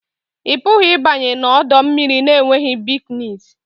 Ị pụghị ịbanye n'ọdọ mmiri na-enweghị bikinis